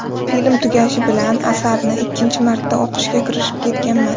Film tugashi bilan asarni ikkinchi marta o‘qishga kirishib ketganman.